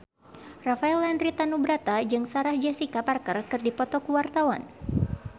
Rafael Landry Tanubrata jeung Sarah Jessica Parker keur dipoto ku wartawan